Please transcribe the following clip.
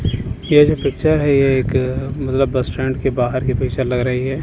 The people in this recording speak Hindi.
ये जो पिक्चर है ये एक मतलब बस स्टैंड के बाहर की पिक्चर लग रही है।